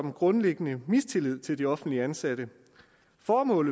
en grundlæggende mistillid til de offentligt ansatte det formål